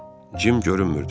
Cim görünmürdü.